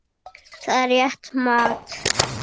Það er rétt mat.